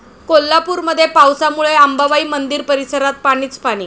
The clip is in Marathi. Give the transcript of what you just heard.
कोल्हापूरमध्ये पावसामुळे अंबाबाई मंदिर परिसरात पाणीच पाणी